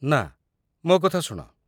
ନା, ମୋ କଥା ଶୁଣ।